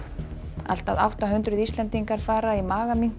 allt að átta hundruð Íslendingar fara í